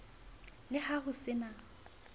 le ha ho se na